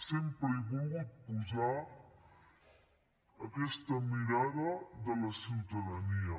sempre he volgut posar aquesta mirada de la ciutadania